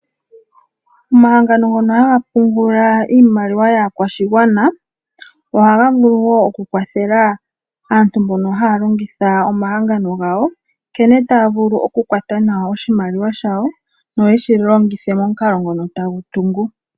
Omahangano ngono haga pungula iimaliwa yaakwashigwana ohaga vulu woo oku kwathela aantu mbono haya longitha omahangano gawo nkene taya vulu okukwata nawa oshimaliwa shayo yeshi longithe momukalo ngono tagu tungu .